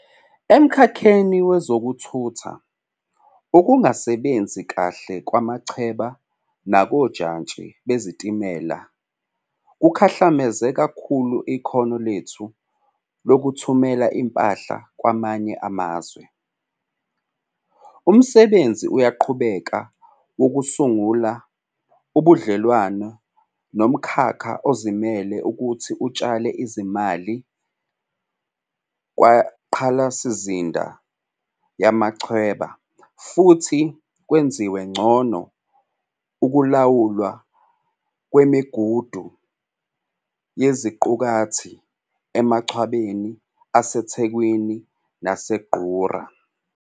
Emkhakheni wezokuthutha, ukungasebenzi kahle kumachweba nakojantshi bezitimela kukhahlameze kakhulu ikhono lethu lokuthumela impahla kwamanye amazwe. Umsebenzi uyaqhubeka wokusungula ubudlelwano nomkhakha ozimele ukuthi utshale izimali kwingqalasizinda yamachweba futhi kwenziwe ngcono ukulawulwa kwemigudu yeziqukathi emachwebeni aseThekwini naseNgqura.